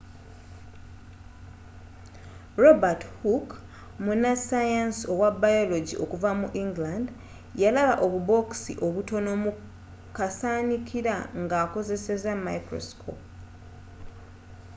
robert hooke munnasayansi owa biology okuva mu england yalaba obubookisi obutono mu kasaanikira nga akozesa microscope